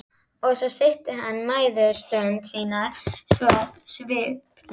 Og svo stytti hann mæðustundir sínar svona sviplega.